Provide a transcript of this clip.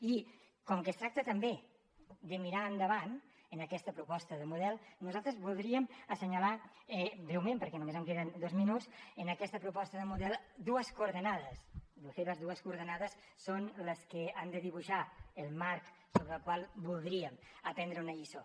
i com que es tracta també de mirar endavant en aquesta proposta de model nosaltres voldríem assenyalar breument perquè només em queden dos minuts en aquesta proposta de model dues coordenades de fet les dues coordenades són les que han de dibuixar el marc sobre el qual voldríem aprendre una lliçó